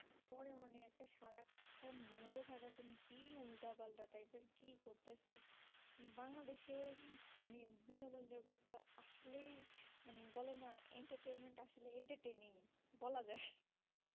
বলা যাই